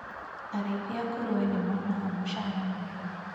Arĩithi a ngũrũwe nĩ monaga mũcara mwega.